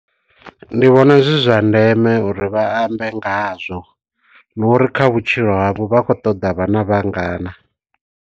Ndi vhona zwi zwa ndeme uri vha ambe nga hazwo. Ndi uri kha vhutshilo havho vhakho ṱoḓa vhana vhangana.